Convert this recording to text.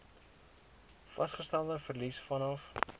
vasgestelde verlies vanaf